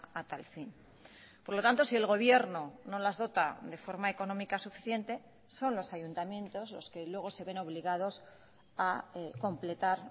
a tal fin por lo tanto si el gobierno no las dota de forma económica suficiente son los ayuntamientos los que luego se ven obligados a completar